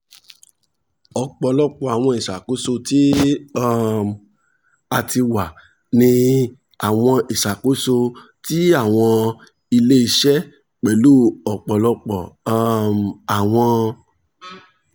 ọpọlọpọ awọn iṣakoso ti um a ti wa ni awọn iṣakoso ti awọn ile-iṣẹ pẹlu ọpọlọpọ um awọn